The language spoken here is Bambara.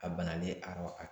A banalen a ka